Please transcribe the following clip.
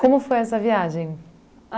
Como foi essa viagem?